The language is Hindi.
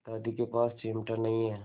दादी के पास चिमटा नहीं है